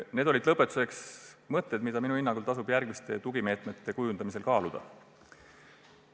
Need olid mõtted, mida minu hinnangul tasub järgmiste tugimeetmete kujundamisel kaaluda.